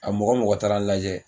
A mɔgɔ mɔgɔ taara n lajɛ